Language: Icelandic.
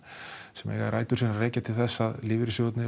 sem eiga rætur sínar að rekja til þess að lífeyrissjóðirnir